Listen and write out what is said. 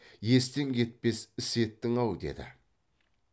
естен кетпес іс еттің ау деді